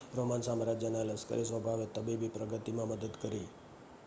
Roman સામ્રાજ્યના લશ્કરી સ્વભાવે તબીબી પ્રગતિમાં મદદ કરી